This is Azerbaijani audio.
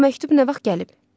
Bu məktub nə vaxt gəlib?